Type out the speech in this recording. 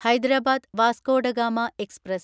Hyderabad Vasco da Gama express